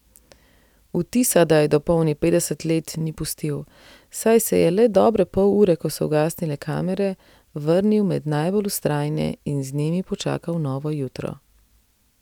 Vtisa, da je dopolnil petdeset let, ni pustil, saj se je le dobre pol ure, ko so ugasnile kamere, vrnil med najbolj vztrajne in z njimi počakal novo jutro.